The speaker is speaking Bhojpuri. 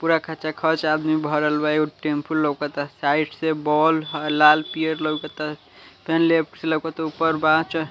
पूरा खचा खच आदमी भरल बा | एगो टेम्पु लउकता | साइड से बॉल ह लाल पियर लउकत | ऊपर